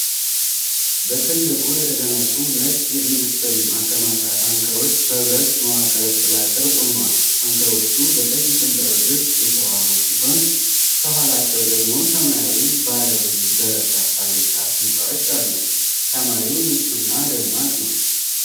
በትልቁ የተገነቡ ነጭ የኢንዱስትሪ ማከማቻ ታንከሮች በብረት መዋቅሮች ጥላ ስር ቆመዋል። ታንከሮቹ በቀይ ሰንጠረዦች የተዋቡ ሲሆን ከኋላቸው ደግሞ ሰማያዊ ባለ ብዙ ደረጃ ፋብሪካ ህንፃዎች አሉ። ሰማዩ ንፁህና ደማቅ ነው።